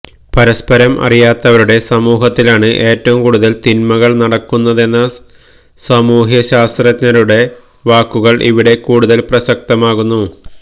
പരസ്പരം അറിയാത്തവരുടെ സമൂഹത്തിലാണ് ഏറ്റവും കൂടുതൽ തിന്മകൾ നടക്കുന്നതെന്ന സാമൂഹ്യശാസ്ത്രജ്ഞരുടെ വാക്കുകൾ ഇവിടെ കൂടുതൽ പ്രസക്തമാകുന്നു